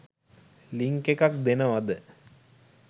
Link එකක් දෙනවද?